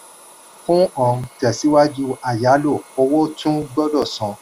fún um tẹ̀síwájú ayálò owó tún gbọ́dọ̀ san.